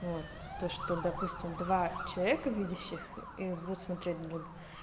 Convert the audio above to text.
вот то что допустим два человека видящих и будут смотреть друг